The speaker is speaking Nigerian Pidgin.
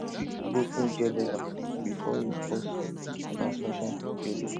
fix broken gear lever before e cause transmission failure